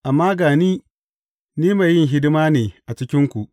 Amma ga ni, ni mai yin hidima ne a cikinku.